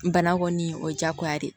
Bana kɔni o ye jagoya de ye